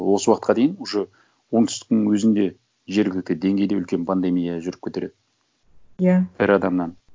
осы уақытқа дейін уже оңтүстіктің өзінде жергілікті деңгейде үлкен пандемия жүріп кетер еді иә бір адамнан